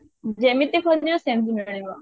ଯେମିତି ଖୋଜିବ ସେମିତି ମିଳିବ